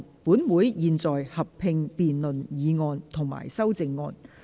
本會現在合併辯論議案及修正案。